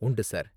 உண்டு சார்.